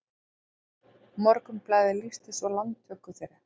Morgunblaðið lýsti svo landtöku þeirra